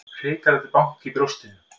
Hrikalegt bank í brjóstinu.